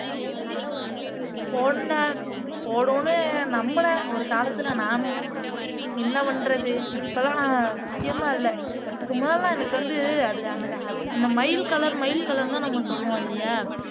போடணும் போடுவோம்ன்னு நம்பினேன் ஒரு காலத்துல நானும் என்ன பண்றது இப்பல்லாம் நான் சத்தியமா இல்லை இதுக்கு முன்னால எல்லாம் எனக்கு வந்து அது அந்த க மயில் கலர் மயில் கலர்ன்னுதான் நம்ம சொல்லுவோம் இல்லையா